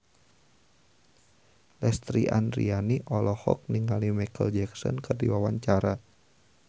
Lesti Andryani olohok ningali Micheal Jackson keur diwawancara